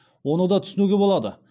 оны да түсінуге болады